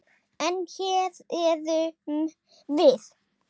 En. hér erum við.